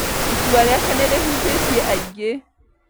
Itua rĩake nĩrĩhutĩtie aingĩ